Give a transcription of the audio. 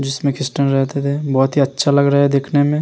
जिसमें क्रिश्चियन रहते थे बहुत ही अच्छा लग रहा है देखने में।